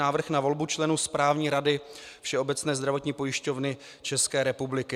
Návrh na volbu členů Správní rady Všeobecné zdravotní pojišťovny České republiky